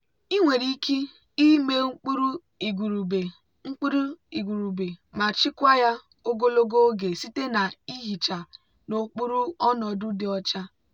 ị nwere ike ịme mkpụrụ igurube mkpụrụ igurube ma chekwaa ya ogologo oge site na ihicha n'okpuru ọnọdụ dị ọcha.